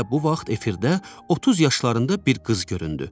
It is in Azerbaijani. Elə bu vaxt efirdə otuz yaşlarında bir qız göründü.